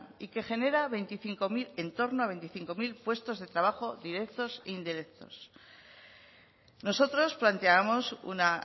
y que genera en torno a veinticinco mil puestos de trabajo directos e indirectos nosotros planteábamos una